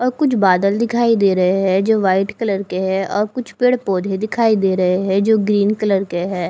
अ कुछ बादल दिखाई दे रहे हैं जो व्हाइट कलर के हैं औ कुछ पेड़ पौधे दिखाई दे रहे हैं जो ग्रीन कलर के हैं।